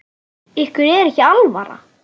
Ykkur er ekki alvara!